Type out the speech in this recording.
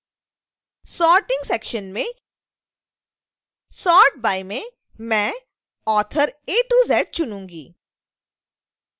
sorting section में sort by में मैं author az चुनूँगी